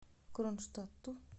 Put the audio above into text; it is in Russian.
кронштадту